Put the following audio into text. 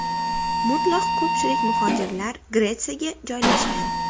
Mutlaq ko‘pchilik muhojirlar Gretsiyaga joylashgan.